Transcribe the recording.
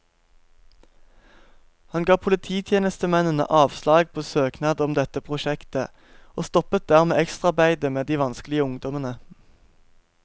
Han ga polititjenestemennene avslag på søknad om dette prosjektet, og stoppet dermed ekstraarbeidet med de vanskelige ungdommene.